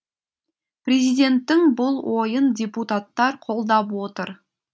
президенттің бұл ойын депутаттар қолдап отыр